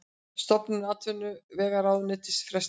Stofnun atvinnuvegaráðuneytis frestað